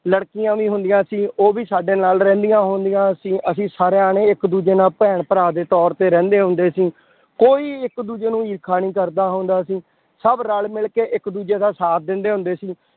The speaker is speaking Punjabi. ਲੜਕੀਆਂ ਵੀ ਹੁੰਦੀਆਂ ਸੀ ਉਹ ਵੀ ਸਾਡੇ ਨਾਲ ਰਹਿੰਦੀਆਂ ਹੁੰਦੀਆਂ ਸੀ ਅਸੀਂ ਸਾਰੇ ਜਾਣੇ ਇੱਕ ਦੂਜੇ ਨਾਲ ਭੈਣ ਭਰਾ ਦੇ ਤੌਰ ਤੇ ਰਹਿੰਦੇ ਹੁੰਦੇ ਸੀ, ਕੋਈ ਇੱਕ ਦੂਜੇ ਨੂੰ ਈਰਖਾ ਨੀ ਕਰਦਾ ਹੁੰਦਾ ਸੀ, ਸਭ ਰਲ ਮਿਲਕੇ ਇੱਕ ਦੂਜੇ ਦਾ ਸਾਥ ਦਿੰਦੇ ਹੁੰਦੇ ਸੀ,